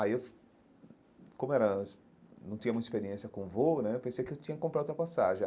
Aí, eu como era eu não tinha muita experiência com voo né, eu pensei que eu tinha que comprar outra passagem.